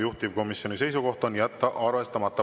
Juhtivkomisjoni seisukoht on jätta arvestamata.